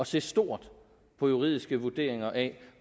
se stort på juridiske vurderinger af